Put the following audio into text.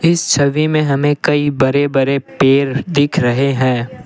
इस छवि में हमें कई बड़े बड़े पेड़ दिख रहे हैं।